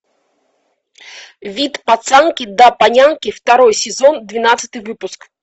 вид пацанки до панянки второй сезон двенадцатый выпуск